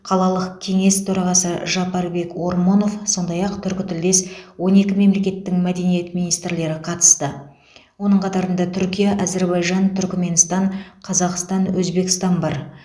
қалалық кеңес төрағасы жапарбек ормонов сондай ақ түркітілдес он екі мемлекеттің мәдениет министрлері қатысты оның қатарында түркия әзербайжан түркіменстан қазақстан өзбекстан бар